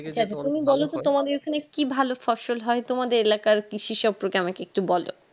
তুমি বলতো তোমাদের ওই খানে কি ভালো ফসল হয় তোমাদের এলাকায় কৃষি সম্পর্কে আমাকে একটু বলো